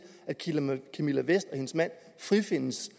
at camilla vest og hendes mand frifindes